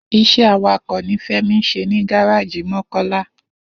Is̩é̩ awakò̩ ni Fé̩mi ń s̩e ní gáráàjì Mó̩kó̩lá